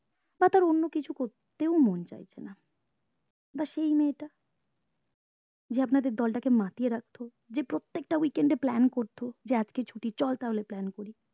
বা তার অন্য কিছু করতে ও মন চাইছেন বা সেই মেয়েটা যে আপনাদের দল তাকে মাতিয়ে রাখতো যে প্রত্যেকটা week end এ plan করতো যে আজকে ছুটি চল তাহলে plan করি